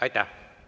Aitäh!